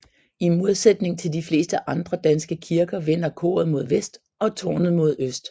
I modsætning til de fleste andre danske kirker vender koret mod vest og tårnet mod øst